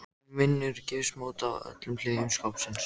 Hún vinnur gifsmót af öllum hliðum skápsins.